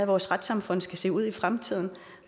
vores retssamfund skal se ud i fremtiden og